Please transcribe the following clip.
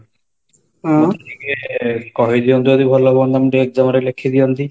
ମୋତେ ଟିକେ କହିଦିଅନ୍ତୁ ଯଦି ଭଲହନ୍ତା ମୁଁ EXAM ରେ ଲେଖିଦିଅନ୍ତି